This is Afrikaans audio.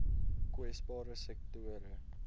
kwesbare sektore